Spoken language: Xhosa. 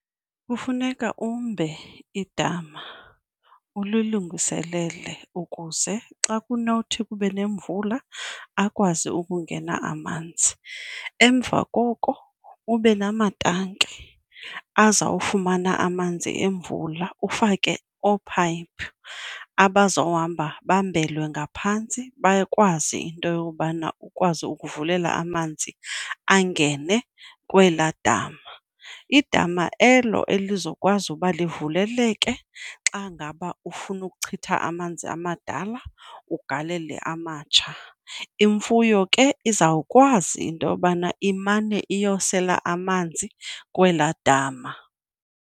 Kufuneka umbe idama, ulilungiselele ukuze xa kunothi kube nemvula akwazi ukungena amanzi. Emva koko ube namatanki azawufumana amanzi emvula ufake oophayiphi abazohamba bambelwe ngaphantsi bakwazi into yobana ukwazi ukuvulela amanzi angene kwelaa dama. Idama elo elizokwazi uba livuleleke xa ngaba ufuna ukuchitha amanzi amadala ugalele amatsha. Imfuyo ke izawukwazi into yobana imane iyosela amanzi kwelaa dama.